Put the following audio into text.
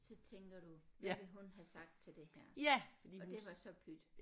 Så tænker du hvad ville hun have sagt til det her og det var så pyt